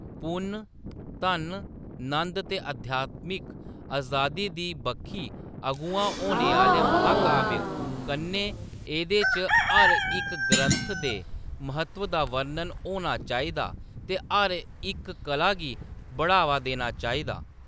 पुन्न, धन, नंद ते अध्यातमिक अजादी दी बक्खी अगुआ होने आह्‌‌‌ले महाकाव्य कन्नै एह्‌‌‌दे च हर इक ग्रंथ दे म्हत्तव दा वर्णन होना चाहिदा ते हर इक कला गी बढ़ावा देना चाहिदा।